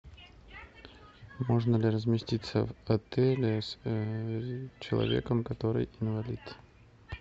можно ли разместиться в отеле с человеком который инвалид